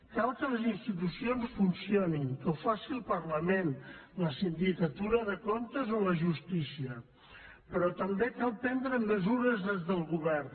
cal que les institucions funcionin que ho faci el parlament la sindicatura de comptes o la justícia però també cal prendre mesures des del govern